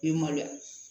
I bɛ maloya